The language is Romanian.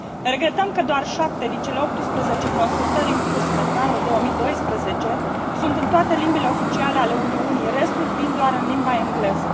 Regretăm că doar șapte din cele 18 consultări în curs pentru anul 2012 sunt în toate limbile oficiale ale Uniunii, restul fiind doar în limba engleză.